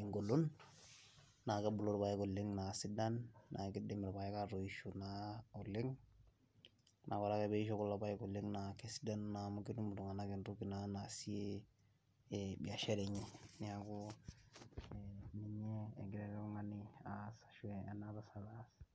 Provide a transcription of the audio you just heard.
engolon naa kebulu irpaek aa sidan naa keidim irpaek naa atoisho oleng' ,naa ore ake pee eisho kulo paek oleng' naa kesidanu amu ketum naa ltung'anak entoki naasie biashara enye neeku ina siai engira ele tung'ani ashu ena tasat aas.